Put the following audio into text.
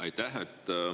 Aitäh!